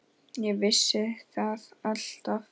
Ég vissi það alltaf.